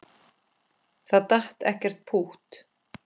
Það datt ekkert pútt.